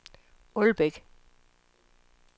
Ålbæk